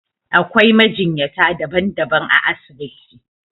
Akwai majinyata daban daban a asibiti